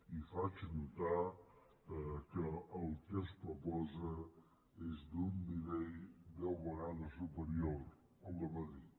i faig notar que el que es proposa és d’un nivell deu vegades superior al de madrid